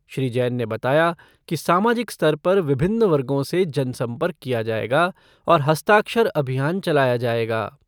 श्री जैन ने बताया कि सामाजिक स्तर पर विभिन्न वर्गों से जनसंपर्क किया जाएगा और हस्ताक्षर अभियान चलाया जाएगा।